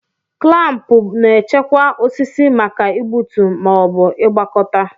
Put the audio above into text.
Klampu na-echekwa osisi maka igbutu ma ọ bụ ịgbakọta.